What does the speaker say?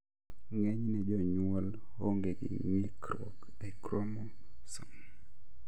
Ng'enyne jonyuol onge gi ng'ikruok e kromosom